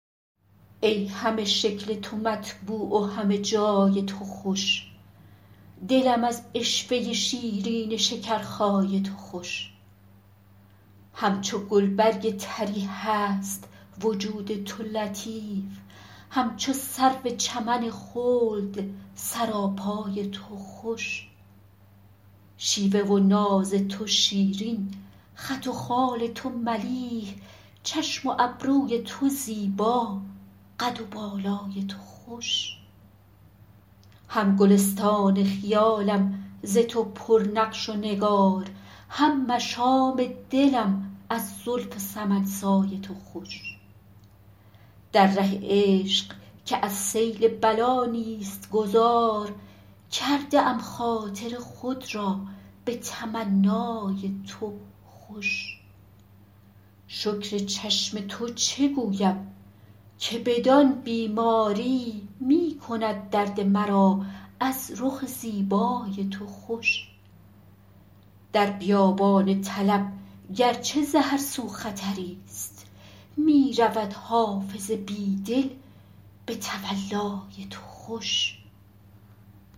ای همه شکل تو مطبوع و همه جای تو خوش دلم از عشوه شیرین شکرخای تو خوش همچو گلبرگ طری هست وجود تو لطیف همچو سرو چمن خلد سراپای تو خوش شیوه و ناز تو شیرین خط و خال تو ملیح چشم و ابروی تو زیبا قد و بالای تو خوش هم گلستان خیالم ز تو پر نقش و نگار هم مشام دلم از زلف سمن سای تو خوش در ره عشق که از سیل بلا نیست گذار کرده ام خاطر خود را به تمنای تو خوش شکر چشم تو چه گویم که بدان بیماری می کند درد مرا از رخ زیبای تو خوش در بیابان طلب گر چه ز هر سو خطری ست می رود حافظ بی دل به تولای تو خوش